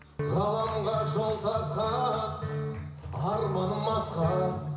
ғаламға жол тартқан арманым асқақ